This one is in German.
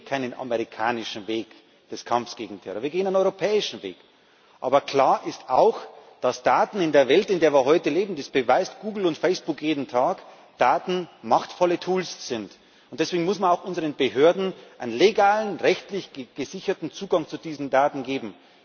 Wir gehen keinen amerikanischen Weg des Kampfes gegen den Terror, wir gehen einen europäischen Weg. Aber klar ist auch, dass Daten in der Welt, in der wir heute leben das beweisen Google und Facebook jeden Tag machtvolle Tools sind. Deswegen muss man auch unseren Behörden einen legalen, rechtlich gesicherten Zugang zu diesen Daten geben.